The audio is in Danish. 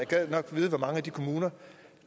gad nok vide hvor mange af de kommuner